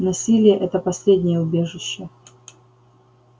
насилие это последнее убежище